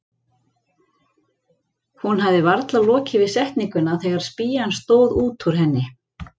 Hún hafði varla lokið við setninguna þegar spýjan stóð út úr henni.